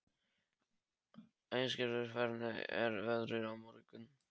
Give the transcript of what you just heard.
Æsgerður, hvernig er veðrið á morgun?